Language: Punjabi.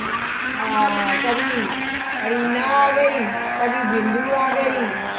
ਹਾਂ ਕਦੀ ਰੀਨਾ ਆ ਗਈ ਕਦੀ ਬਿੰਦੂ ਆ ਗਈ